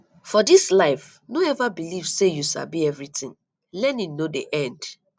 for dis life no eva beliv sey you sabi everytin learning no dey end